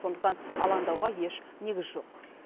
сондықтан алаңдауға еш негіз жоқ